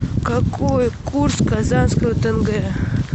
какой курс казахского тенге